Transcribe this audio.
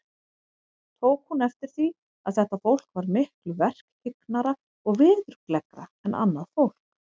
Tók hún eftir því, að þetta fólk var miklu verkhyggnara og veðurgleggra en annað fólk.